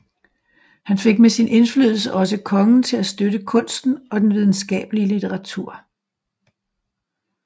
Han fik med sin indflydelse også kongen til at støtte kunsten og den videnskabelige litteratur